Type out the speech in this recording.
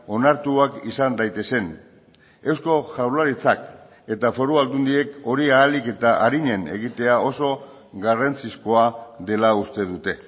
onartuak izan daitezen eusko jaurlaritzak eta foru aldundiek hori ahalik eta arinen egitea oso garrantzizkoa dela uste dute